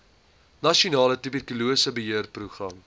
nasionale tuberkulose beheerprogram